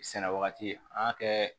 Sɛnɛ wagati an ka kɛ